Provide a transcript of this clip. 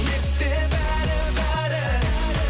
есте бәрі бәрі